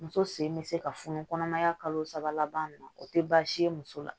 Muso sen bɛ se ka funu kɔnɔmaya kalo saba laban na o tɛ baasi ye muso la